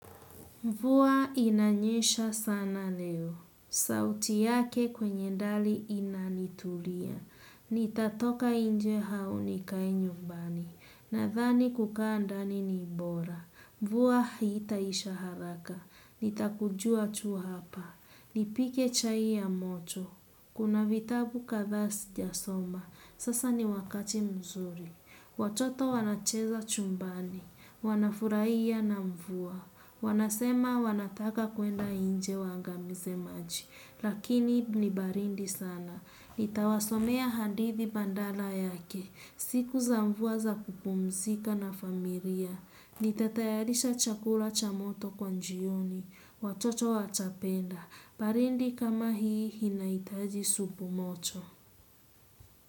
Mvua inanyesha sana leo. Sauti yake kwenye dari inanitulia. Nitatoka nje au nikae nyumbani. Nadhani kukaa ndani ni bora. Mvua hii itaisha haraka. Nitakujua tu hapa. Nipike chai ya moto. Kuna vitabu kadhaa sijasoma. Sasa ni wakati mzuri. Watoto wanacheza chumbani. Wanafurahia na mvua. Wanasema wanataka kuenda nje waangamize maji. Lakini ni baridi sana. Nitawasomea hadithi badala yake. Siku za mvua za kupumzika na familia. Nitatayarisha chakula cha moto kwa jioni. Watoto watapenda. Baridi kama hii inahitaji supu moto.